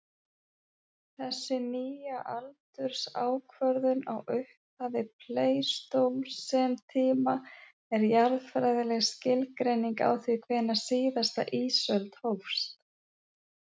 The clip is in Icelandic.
Þessi nýja aldursákvörðun á upphafi pleistósentíma er jarðfræðileg skilgreining á því hvenær síðasta ísöld hófst.